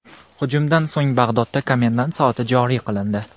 Hujumdan so‘ng Bag‘dodda komendant soati joriy qilindi.